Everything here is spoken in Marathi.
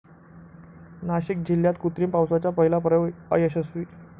नाशिक जिल्ह्यात कृत्रिम पावसाचा पहिला प्रयोग अयशस्वी